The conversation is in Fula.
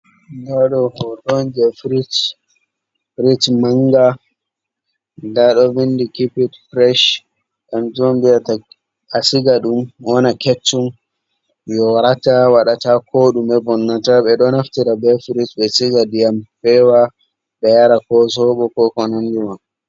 Fridge manga, nda ɗo vindi "keep it fresh", kanjum viyata a siga dum wona keccum, yorata, waɗata ko ɗume, vonnata. Ɓe ɗo naftira be fridge ɓe siga ɗiyam fewa ɓe yara, ko sobo, ko konandi man.